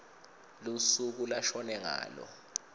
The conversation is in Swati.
lusuku lashone ngalo